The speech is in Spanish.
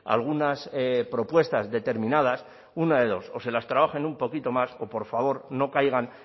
algunas propuestas determinadas una de dos o se las trabajen un poquito más o por favor no caigan